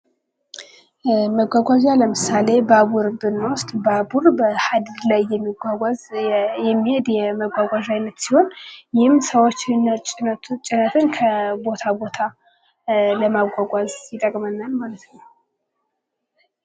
መጓጓዣ ለምሳሌ ባቡር ብንወስድ ባቡር በሀዲድ ላይ የሚጓጓዝ የሚሄድ የመጓጓዣ አይነት ሲሆን ይህም ሰዎችንና ጭነትን ከቦታ ቦታ ለማጓጓዝ ይጠቅመናል ማለት ነው።